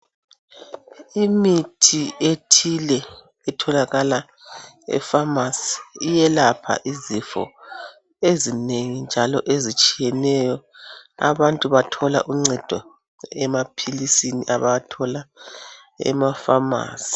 Imithi ethile etholakala efamasi iyelapha izifo ezinengi njalo ezitshiyeneyo. Abantu bathola uncedo emaphilisini abawathola khona.